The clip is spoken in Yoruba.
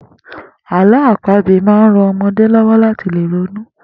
Àló̩ àpagbè máa ń ran o̩mo̩dé ló̩wó̩ láti lè ronú